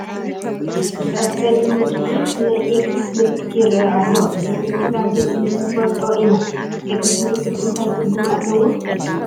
ኣብ ፀሊም ምድሪ ቤት ናይ ኤክስ ምልክት ይርአ ኣሎ፡፡ እዚ ምልክት ኣብ ቤት ትምህርቲ ንፈልጦ ኢና፡፡ ኤክስ ምልክት እንታይ ትርጉም ኣለዎ?